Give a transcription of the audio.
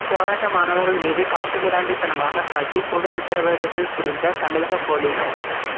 போராட்ட மாணவர்கள் மீது காட்டுமிராண்டித்தனமாக தாக்கி கொடுஞ் சித்திரவதைகள் புரிந்த தமிழக பொலிஸ்